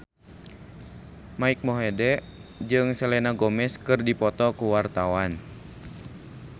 Mike Mohede jeung Selena Gomez keur dipoto ku wartawan